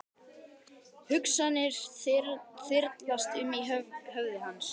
Hugsanir þyrlast um í höfði hans.